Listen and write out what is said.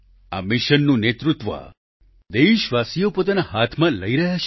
આ મિશનનું નેતૃત્વ દેશવાસીઓ પોતાના હાથમાં લઈ રહ્યા છે